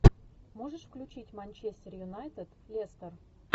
можешь включить манчестер юнайтед лестер